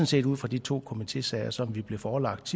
set ud fra de to komitésager som vi blev forelagt